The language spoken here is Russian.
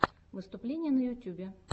выступления на ютьюбе